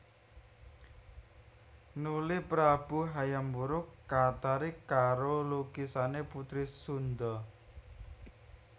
Nuli prabu Hayam Wuruk katarik karo lukisané putri Sundha